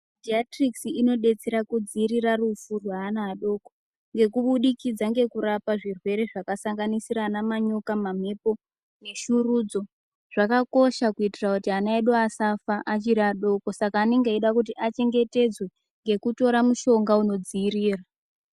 Jiyatirikisi ino detsera ku dzivirira rufu rwe ana adoko ngeku budikidza ngeku rapa zvirwere zvaka sanganisira ana manyoka ma mhepo ne shurudzo zvakakosha kuitira kuti ana edu asafa achiri adoko saka anenge eyida kuti achengetedzwe ngeku tora mushonga uno dziviira.